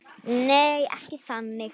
Nei, ekki þannig.